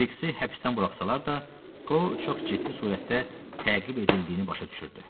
Kriksi həbsdən buraxsalar da, o çox ciddi surətdə təqib edildiyini başa düşürdü.